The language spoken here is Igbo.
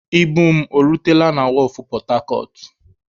Ibu m o rutela na wọọfụ pọtacọt?